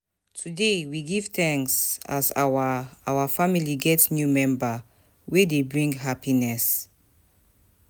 Today, we give thanks as our our family get new member wey dey bring happiness.